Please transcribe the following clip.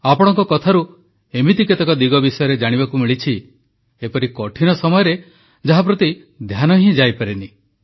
ଆପଣଙ୍କ କଥାରୁ ଏମିତି କେତେକ ଦିଗ ବିଷୟରେ ଜାଣିବାକୁ ମିଳିଛି ଏପରି କଠିନ ସମୟରେ ଯାହାପ୍ରତି ଧ୍ୟାନ ହିଁ ଯାଇପାରେ ନାହିଁ